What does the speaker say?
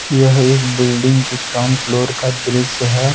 यह एक बिल्डिंग की ग्राउंड फ्लोर का दृश्य है।